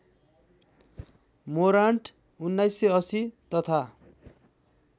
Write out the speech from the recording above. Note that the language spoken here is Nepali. मोरान्ट १९८० तथा